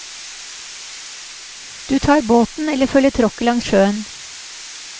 Du tar båten eller følger tråkket langs sjøen.